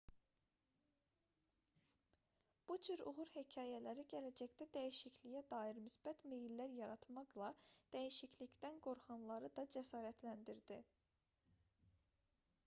bu cür uğur hekayələri gələcəkdə dəyişikliyə dair müsbət meyllər yaratmaqla dəyişiklikdən qorxanları da cəsarətləndirdi